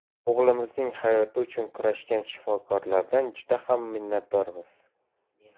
O‘g‘limizning hayoti uchun kurashgan shifokorlardan juda ham minnatdormiz.